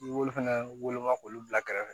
I b'olu fana woloma k'olu bila kɛrɛfɛ